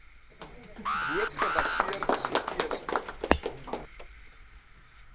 boot gebaseerde setasese